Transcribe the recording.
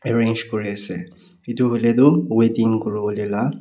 arrange kuri ase etu hoi le toh wedding kuri wole la.